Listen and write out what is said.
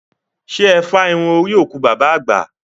Ṣé ẹ fá irú orí òkú bàbá àgbà?